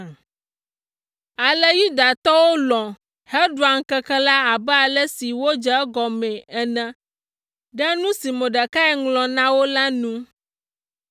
Ale Yudatɔwo lɔ̃ heɖua ŋkeke la abe ale si wodze egɔmee ene ɖe nu si Mordekai ŋlɔ na wo la nu.